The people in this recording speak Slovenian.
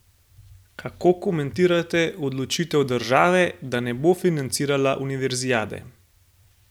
Kako komentirate odločitev države, da ne bo financirala univerzijade?